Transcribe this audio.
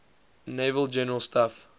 naval general staff